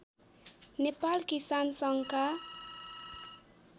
नेपाल किसान सङ्घका